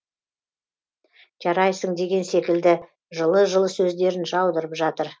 жарайсың деген секілді жылы жылы сөздерін жаудырып жатыр